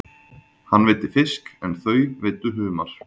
Hann veiddi fisk en þau veiddu humar.